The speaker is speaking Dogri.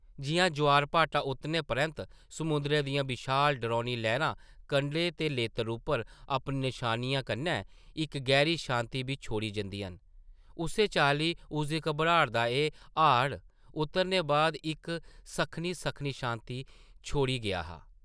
जिʼयां ज्वार-भाटा उतरने परैंत्त समुंदरै दियां विशाल डरौनी लैह्रां कंढे दे लेतर उप्पर अपनी नशानियें कन्नै इक गैह्री शांति बी छोड़ी जंदियां न उस्सै चाल्ली उसदी घबराट दा एह् हाड़ उतरने बाद इक सक्खनी-सक्खनी शांति छोड़ी गेआ हा ।